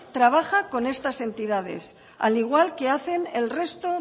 trabaja con estas entidades al igual que hacen el resto